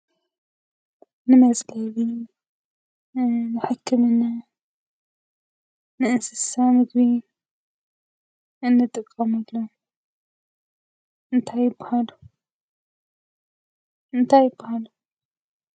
ንመፅለሊ፣ ንሕክምና፣ ንእንስሳ ምግቢ እንጥቀመሎም እንታይ ይበሃሉ እንታይ ይባሃሉ?